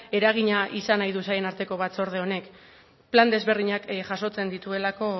eragina izan nahi du sailen arteko batzorde honek plan desberdinak jasotzen dituelako